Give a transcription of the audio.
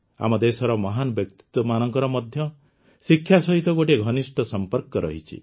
ଆମ ଦେଶର ମହାନ ବ୍ୟକ୍ତିତ୍ୱମାନଙ୍କର ମଧ୍ୟ ଶିକ୍ଷା ସହିତ ଗୋଟିଏ ଘନିଷ୍ଠ ସମ୍ପର୍କ ରହିଛି